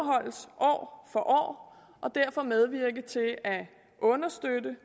for år og derfor medvirke til at understøtte